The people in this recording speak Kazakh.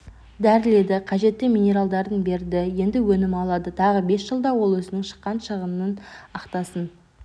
дәріледі қажетті минералдарын берді енді өнім алады тағы бес жылда ол өзінің шыққан шығынан ақтасын